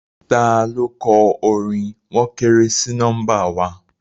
Taló kọ orin "wọ́n kéré sí nọ́mbà wa"?